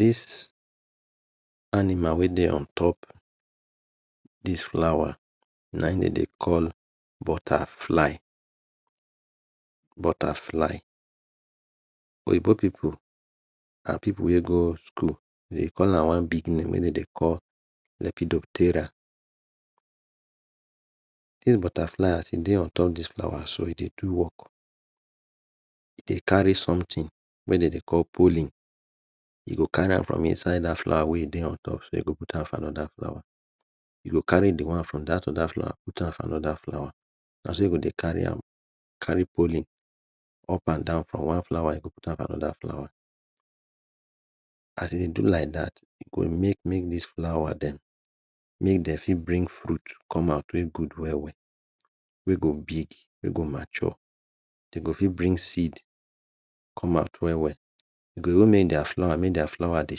This animal wey dey on top this flower na im dey dey call butterfly butterfly. Oyibo pipu and pipu wey go school dey call am one big name wey dey dey call lipidotera. This butterfly as e dey on top this flower so e dey do work. e de carry something wey dey dey call pollen. E go carry am from inside that flower wey e dey on top so put am for another flower, e go carry de one from that other flower put am for another flower. Na so e go dey carry am carry pollen up and down. From one flower e go put am for another flower. As e dey do am like that, e go make make this flower dem, make dey fit bring fruit come out wey good well well. We go big wey go mature. Dey go fit bring seed come out well well e go even make their flower dey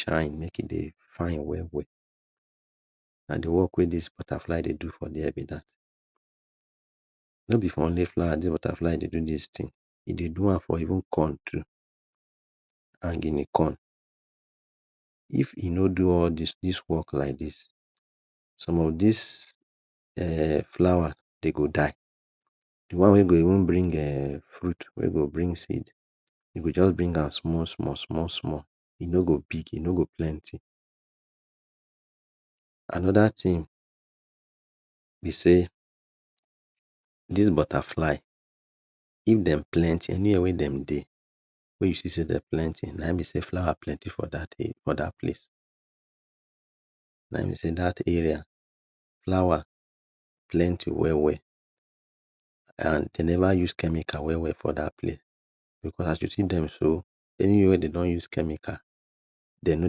shine make e dey fine well well. Na de work wey this butterfly dey do be that. No be for only flower this butterfly dey do this thing, e dey do am for corn too and guinea corn. If e no do all this work like this, some of this um flower, dem go die. De one um wey go even fruit wey go even bring seed, e go just bring am small small small, e no go big, e no go plenty. Another thing be sey this butterfly if dem plenty anywhere wey dem dey, wey you see sey dem plenty na Im be sey flower plenty for that other place. Na Im be sey for that place, flower plenty well well. And dey never use chemicals well well for that place because as you see dem so, anywhere wey dey don use chemical, dey no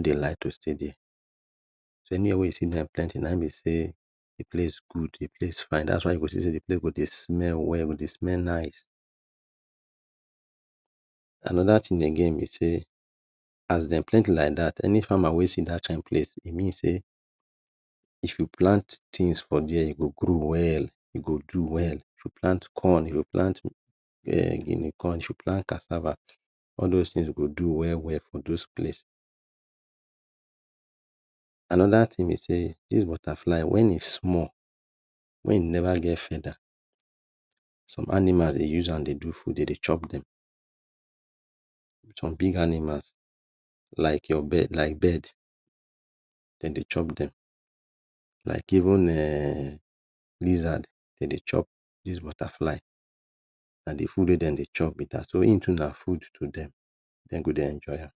dey like to dey dey. Anywhere wey you see dem plenty, na him be sey, e place good, de place fine that is why you go see sey de place go de smell nice. Another thing again be sey as dem plenty like that any farmer wey see that kind place, e mean sey if Im plant things for there, e go grow well. E go do well. If e plant corn, if e plant guinea corn, plant cassava all those plant go do well well for those places. Another thing be sey this butterfly when e small, when im never get feather, some animals dey use am dey do food: dey dey chop dem. Some big animals like your bird like bird dey dey chop dem like even um lizard dey dey chop this butterfly. Na de food wey dey chop be that. So I'm too na food to dem. Dey go dey enjoy am.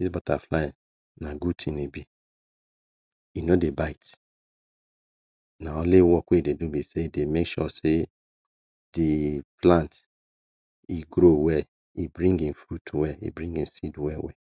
This butterfly na good thing e be; e no dey bite na only work wey e dey do be sey e dey make sure sey dey plant e grow well e bring him food well e bring Im seed well well.